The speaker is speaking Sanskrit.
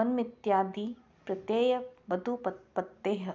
वनमित्यादिप्रत्ययवदुपपत्तेः